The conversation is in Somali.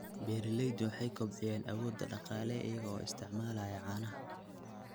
Beeraleydu waxay kobcinayaan awoodda dhaqaale iyaga oo isticmaalaya caanaha.